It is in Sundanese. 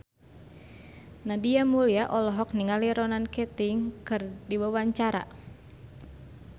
Nadia Mulya olohok ningali Ronan Keating keur diwawancara